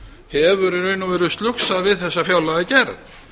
hefur í raun og veru slugsað við þessa fjárlagagerð